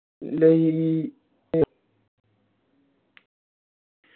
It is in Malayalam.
ലയി